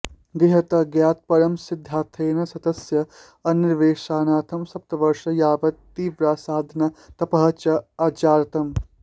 गृहत्यागात् परं सिद्धार्थेन सत्यस्य अन्वेषणार्थं सप्तवर्षं यावत् तीव्रा साधना तपः च आचरतम्